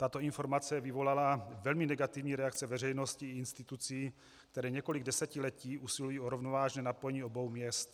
Tato informace vyvolala velmi negativní reakce veřejnosti i institucí, které několik desetiletí usilují o rovnovážné napojení obou měst.